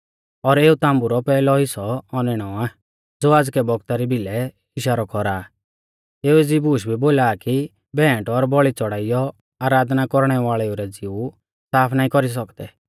और एऊ ताम्बु रौ पैहलौ हिस्सौ औनैणौ आ ज़ो आज़कै बौगता री भिलै इशारौ कौरा आ एऊ एज़ी बूश बोला आ कि भेंट और बौल़ी च़ौड़ाइयौ आराधना कौरणै वाल़ेऊ रै ज़िऊ साफ नाईं कौरी सौकदै